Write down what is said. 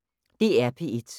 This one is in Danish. DR P1